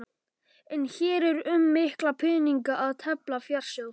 En hér er um mikla peninga að tefla, fjársjóð!